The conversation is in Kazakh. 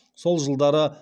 сол жылдары